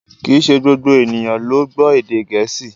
Kìí ṣe gbogbo ènìyàn ló gbọ́ èdè Gẹ̀ẹ́sì